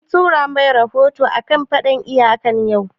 An tura ma rahoto a kan faɗan iyaka yau?